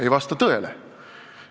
Ei vasta tõele.